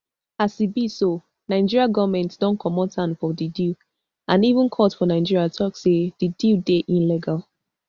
as e be so nigeria goment don comot hand from di deal and even court for nigeria tok say di deal dey illegal